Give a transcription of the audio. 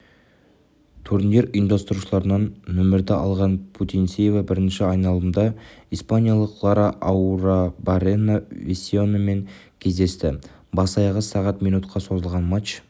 турнир ұйымдастырушыларынан нөмірді алған путинцева бірінші айналымда испаниялық лара арруабаррена-весиномен кездесті бас-аяғы сағат минутқа созылған матч